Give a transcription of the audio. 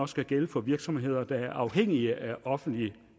skal gælde for virksomheder der er afhængige af offentligt